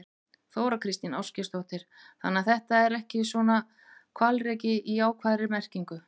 Þóra Kristín Ásgeirsdóttir: Þannig að þetta er ekki svona hvalreki í jákvæðri merkingu?